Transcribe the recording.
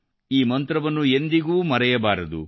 ಈ ಮಂತ್ರವನ್ನು ಎಂದಿಗೂ ಮರೆಯಬಾರದು